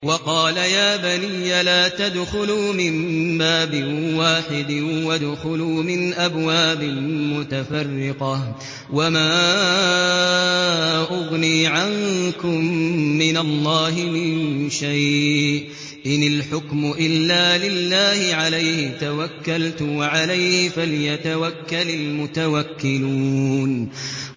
وَقَالَ يَا بَنِيَّ لَا تَدْخُلُوا مِن بَابٍ وَاحِدٍ وَادْخُلُوا مِنْ أَبْوَابٍ مُّتَفَرِّقَةٍ ۖ وَمَا أُغْنِي عَنكُم مِّنَ اللَّهِ مِن شَيْءٍ ۖ إِنِ الْحُكْمُ إِلَّا لِلَّهِ ۖ عَلَيْهِ تَوَكَّلْتُ ۖ وَعَلَيْهِ فَلْيَتَوَكَّلِ الْمُتَوَكِّلُونَ